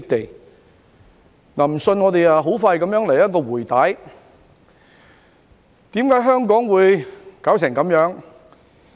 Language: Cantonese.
若然不信，我們現在很快來一次"回帶"，看看為何香港會弄得這樣子。